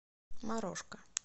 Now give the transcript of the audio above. морошка